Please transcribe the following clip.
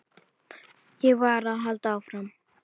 Ég varð að halda áfram.